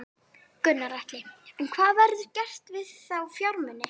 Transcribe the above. Gunnar Atli: En hvað verður gert við þá fjármuni?